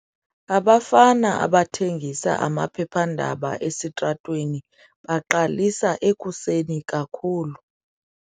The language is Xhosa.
Abafana abathengisa amaphephandaba esitratweni baqalisa ekuseni kakhulu.